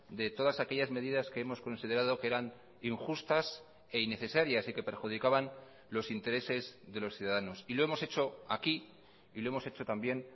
de todas aquellas medidas que hemos considerado que eran injustas e innecesarias y que perjudicaban los intereses de los ciudadanos y lo hemos hecho aquí y lo hemos hecho también